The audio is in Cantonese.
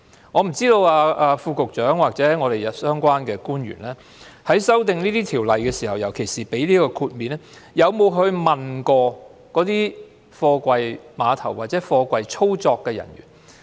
我不知道副局長或相關官員在修訂法例時，尤其是提供豁免方面，有否問過貨櫃碼頭的操作人員？